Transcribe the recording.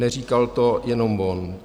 Neříkal to jenom on.